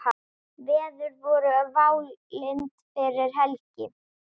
Veður voru válynd fyrir helgi.